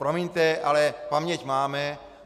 Promiňte, ale paměť máme.